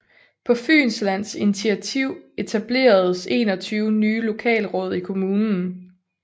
På Fynslands initativ etableredes 21 nye lokalråd i kommunen